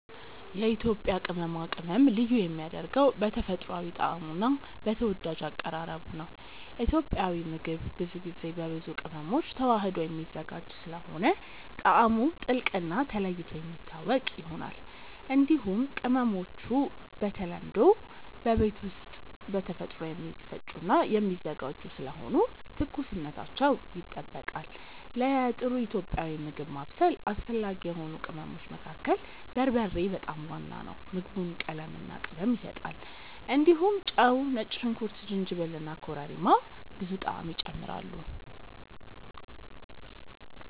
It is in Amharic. የኢትዮጵያ ቅመማ ቅመም ልዩ የሚያደርገው በተፈጥሯዊ ጣዕሙ እና በተወዳጅ አቀራረቡ ነው። ኢትዮጵያዊ ምግብ ብዙ ጊዜ በብዙ ቅመሞች ተዋህዶ የሚዘጋጅ ስለሆነ ጣዕሙ ጥልቅ እና ተለይቶ የሚታወቅ ይሆናል። እንዲሁም ቅመሞቹ በተለምዶ በቤት ውስጥ በተፈጥሮ የሚፈጩ እና የሚዘጋጁ ስለሆኑ ትኩስነታቸው ይጠበቃል። ለጥሩ ኢትዮጵያዊ ምግብ ማብሰል አስፈላጊ የሆኑ ቅመሞች መካከል በርበሬ በጣም ዋና ነው። ምግቡን ቀለምና ቅመም ይሰጣል። እንዲሁም ጨው፣ ነጭ ሽንኩርት፣ ጅንጅብል እና ኮረሪማ ብዙ ጣዕም ይጨምራሉ።